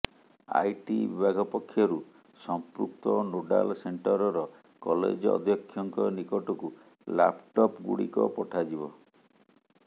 IT ବିଭାଗ ପକ୍ଷରୁ ସମ୍ପୃକ୍ତ ନୋଡାଲ ସେଣ୍ଟରର କଲେଜ ଅଧ୍ୟକ୍ଷଙ୍କ ନିକଟକୁ ଲାପଟପ୍ଗୁଡ଼ିକ ପଠାଯିବ